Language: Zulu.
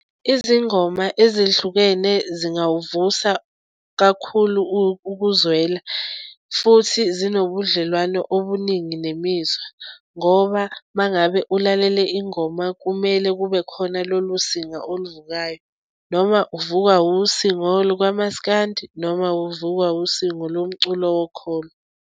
Izingoma ezihlukene zingawuvusa kakhulu ukuzwela futhi zinobubudlelwano obuningi nemizwa ngoba uma ngabe ulalele ingoma kumele kube khona lolu singa oluvukayo noma uvuka usingo lukamaskandi noma uvukwa usingo lomculo wokholo.